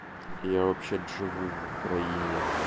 я вообще-то живу в украине